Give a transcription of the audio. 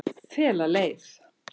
Fela leið